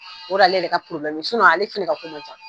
O de y'ale yɛrɛ ka probilɛmu ye ale fana ka ko man ca.